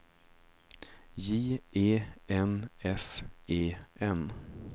J E N S E N